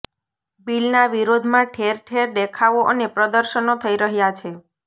બિલનાં વિરોધમાં ઠેરઠેર દેખાવો અને પ્રદર્શનો થઈ રહ્યા છે